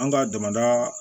An ka damada